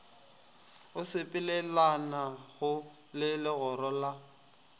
o sepelelanago le legora la